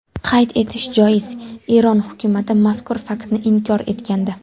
Qayd etish joiz, Eron hukumati mazkur faktni inkor etgandi.